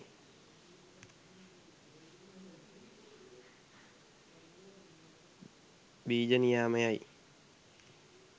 බීජ නියාමයයි.